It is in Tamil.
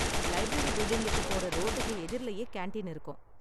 லைப்ரரி பில்டிங்குக்கு போற ரோட்டுக்கு எதிர்லயே கேண்டீன் இருக்கும்.